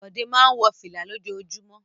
Bọ̀dé máa ń wọ fìlà lójoojúmọ́.